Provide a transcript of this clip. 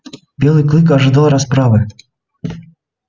белый клык ожидал расправы